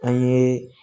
An ye